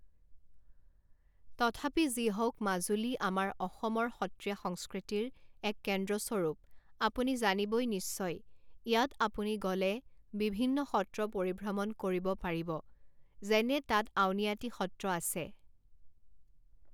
তথাপি যি হওক মাজুলী আমাৰ অসমৰ সত্ৰীয়া সংস্কৃতিৰ এক কেন্দ্ৰস্বৰূপ আপুনি জানিবই নিশ্চয়, ইয়াত আপুনি গ'লে বিভিন্ন সত্ৰ পৰিভ্ৰমণ কৰিব পাৰিব, যেনে তাত আউনীআাটী সত্ৰ আছে